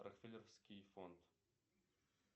рокфеллеровский фонд